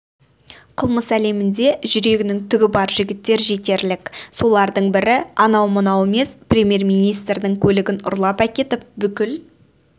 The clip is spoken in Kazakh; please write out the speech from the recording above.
қылмыс әлемінде жүрегінің түгі бар жігіттер жетерлік солардың бірі анау-мынау емес премьер-министрдің көлігін ұрлап әкетіп бүкіл